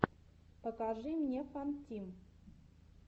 покажи мне фантим